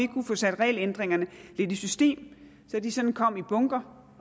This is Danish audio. kunne få sat regelændringerne lidt i system så de sådan kom i bunker